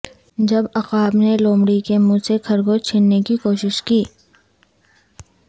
جب عقاب نے لومڑی کے منھ سے خرگوش چھیننے کی کوشش کی